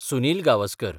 Sunil Gavaskar